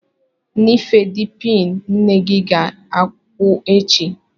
Nifedipin nne gị ga-agwụ echi.